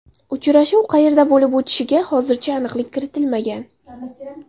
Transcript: Uchrashuv qayerda bo‘lib o‘tishiga hozircha aniqlik kiritilmagan.